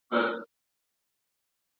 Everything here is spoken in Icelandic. Manstu nokkuð eftir Bjarna?